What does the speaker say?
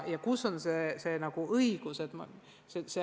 Kus ja kellel on õigus?